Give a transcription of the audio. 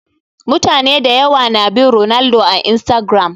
Mutane da yawa na bin Ronaldo a Instagiram